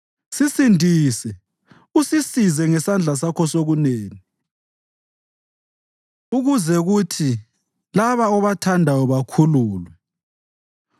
Sisindise usisize ngesandla sakho sokunene, ukuze kuthi laba obathandayo bakhululwe.